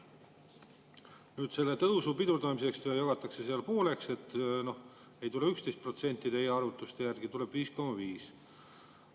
Nüüd, selle tõusu pidurdamiseks jagatakse pooleks: ei tule 11%, teie arvutuste järgi tuleb 5,5%.